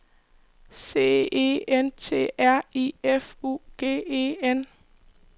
C E N T R I F U G E N